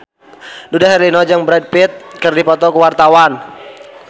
Dude Herlino jeung Brad Pitt keur dipoto ku wartawan